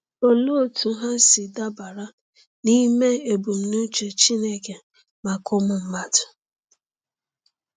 Olee otú ha si dabara n’ime ebumnuche Chineke maka ụmụ mmadụ?